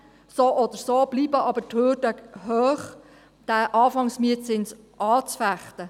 So oder so bleiben die Hürden hoch, den Anfangsmietzins anzufechten.